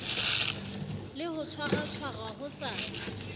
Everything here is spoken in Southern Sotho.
le ho tshwaratshwara ho sa